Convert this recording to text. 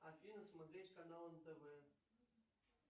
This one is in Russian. афина смотреть канал нтв